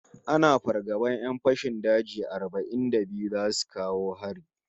Ana fargaban 'yan fashin daji arba'in da biyu zasu kawo hari